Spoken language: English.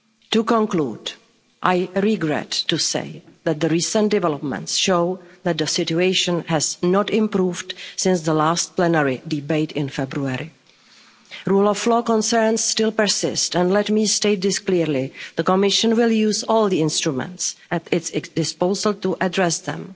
To conclude I regret to say that the recent developments show that the situation has not improved since the last plenary debate in February. Rule of law concerns still persist, and let me state clearly that the Commission will use all the instruments at its disposal to address them.